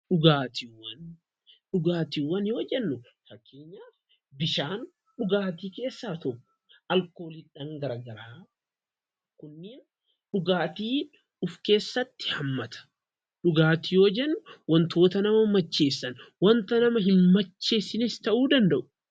Dhugaatiiwwan. Dhugaatiiwwan yoo jennuu fakkeenyaaf bishaan dhugaatiwwan keessa tokkoo dha. Dhugaatiin alkooliwwan garaa garaas kan of keessatti hammatuu dha. Dhugaatiwwan wantoota nama macheessanii fi hin macheessine kan of keessatti qabatuu dha.